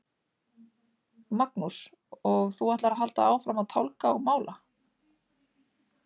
Magnús: Og þú ætlar að halda áfram að tálga og mála?